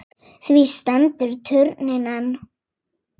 Því stendur turninn enn.